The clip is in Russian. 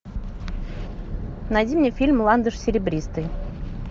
найди мне фильм ландыш серебристый